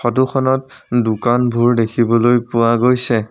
Photo খনত দোকানবোৰ দেখিবলৈ পোৱা গৈছে।